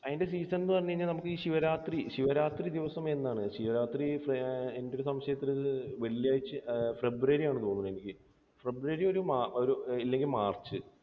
അതിൻറെ season എന്ന് പറഞ്ഞു കഴിഞ്ഞാൽ നമുക്ക് ഈ ശിവരാത്രി, ശിവരാത്രി ദിവസം എന്നാണ്? ശിവരാത്രി എൻറെ ഒരു സംശയത്തിൽ വെള്ളിയാഴ്ച, ഫെബ്രുവരി ആണെന്ന് തോന്നുന്നു എനിക്ക്. ഫെബ്രുവരി ഒരു, അല്ലെങ്കിൽ മാർച്ച്.